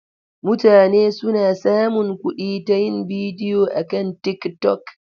Mutane suna samun kuɗi ta yin bidiyo akan TikTok.